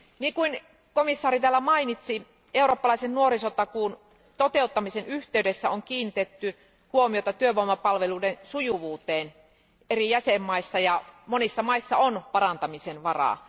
Kuten komission jäsen täällä mainitsi, eurooppalaisen nuorisotakuun toteuttamisen yhteydessä on kiinnitetty huomiota työvoimapalveluiden sujuvuuteen eri jäsenvaltioissa, ja monissa valtioissa on parantamisen varaa.